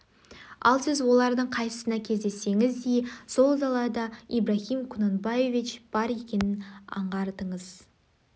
ал сіз олардың қайсысына кездессеңіз де сол далада ибрагим ку нанбаевич бар екенін аңғартыңыз